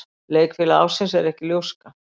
Leikfélagi ársins ekki ljóska